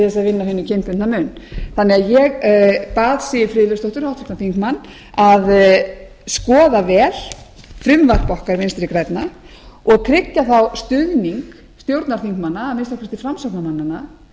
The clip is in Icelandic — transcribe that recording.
upphugsa einhverjar tillögur til þess að vinna á kynbundna mun ég bað því siv friðleifsdóttur á þingmenn að skoða vel frumvarp okkar vinstri grænna og tryggja þá stuðning stjórnarþingmanna að minnsta kosti framsóknarmannanna ég vil stuðning stjórnarþingmanna að minnsta kosti framsóknarmannanna